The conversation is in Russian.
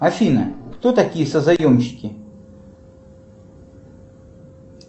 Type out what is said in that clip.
афина кто такие созаемщики